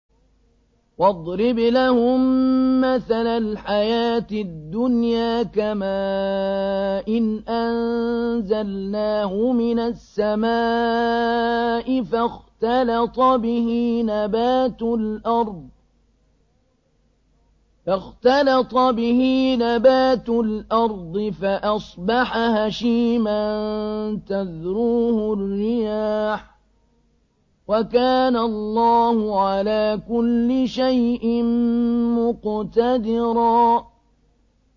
وَاضْرِبْ لَهُم مَّثَلَ الْحَيَاةِ الدُّنْيَا كَمَاءٍ أَنزَلْنَاهُ مِنَ السَّمَاءِ فَاخْتَلَطَ بِهِ نَبَاتُ الْأَرْضِ فَأَصْبَحَ هَشِيمًا تَذْرُوهُ الرِّيَاحُ ۗ وَكَانَ اللَّهُ عَلَىٰ كُلِّ شَيْءٍ مُّقْتَدِرًا